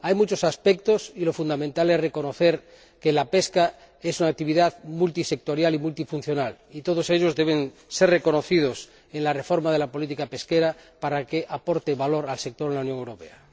Hay muchos aspectos —y lo fundamental es reconocer que la pesca es una actividad multisectorial y multifuncional— y todos ellos deben tener reconocimiento en la reforma de la política pesquera para que aporte valor al sector en la Unión Europea.